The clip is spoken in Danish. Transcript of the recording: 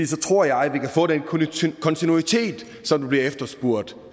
så tror jeg at vi kan få den kontinuitet som bliver efterspurgt